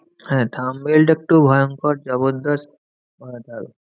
হ্যাঁ thumbnail টা একটু ভয়ংকর জবরদস্ত বানাতে হবে।